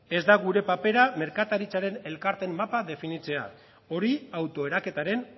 ez da gure papera merkataritzaren elkarteen mapa definitzea hori autoeraketaren